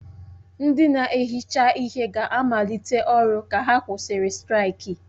Ndị na-ehicha ihe ga-amalite ọrụ ka a kwụsịrị straiki.